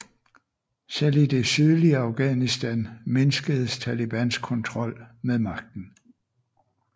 Selv i det sydlige Afghanistan mindskedes Talibans kontrol med magten